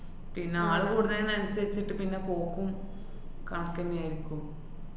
പിന്നെ ആള് കൂടുന്നയിനനുസരിച്ചിട്ട് പിന്നെ പോക്കും കണക്കന്നെയാര്ക്കും.